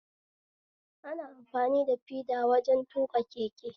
Ana amfani da feda wajen tuƙa keke